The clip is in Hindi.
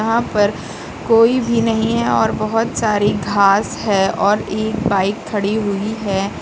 यहां पर कोई भी नहीं है और बहोत सारी घास है और एक बाइक खड़ी हुई है।